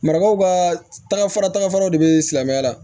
Marabaw ka taga fara tagafaraw de bɛ silamɛya la